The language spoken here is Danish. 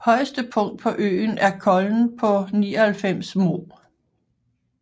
Højeste punkt på øen er Kollen på 99 moh